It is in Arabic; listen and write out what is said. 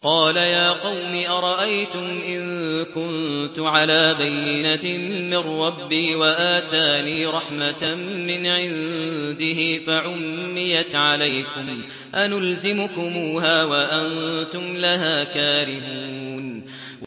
قَالَ يَا قَوْمِ أَرَأَيْتُمْ إِن كُنتُ عَلَىٰ بَيِّنَةٍ مِّن رَّبِّي وَآتَانِي رَحْمَةً مِّنْ عِندِهِ فَعُمِّيَتْ عَلَيْكُمْ أَنُلْزِمُكُمُوهَا وَأَنتُمْ لَهَا كَارِهُونَ